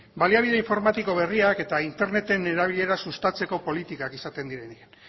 baliabide informatiko berriak eta interneten erabilera sustatzeko politikak esaten direnean